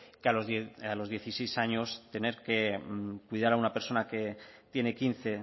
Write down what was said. que a los dieciséis años tener que cuidar a una persona que tiene quince